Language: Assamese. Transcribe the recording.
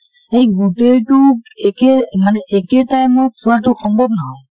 সেই গোটেই টো একে মানে একে time ত চোৱাটো সম্ভৱ নহয়